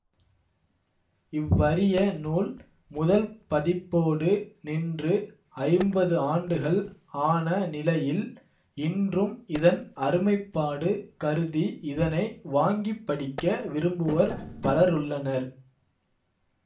இவ்வரிய நூல் முதல் பதிப்போடு நின்று ஐம்பது ஆண்டுகள் ஆன நிலையில் இன்றும் இதன் அருமைப்பாடு கருதி இதனை வாங்கிப்படிக்க விரும்புவோர் பலருள்ளனர்